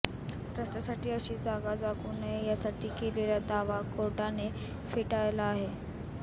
रस्त्यासाठी अशी जागा जागू नये यासाठी केलेला दावा कोर्टाने फेटाळला आहे